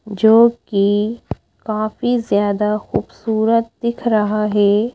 जोकि काफी ज्यादा खूबसूरत दिख रहा है।